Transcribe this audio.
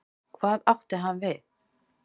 Hvað átti hann við?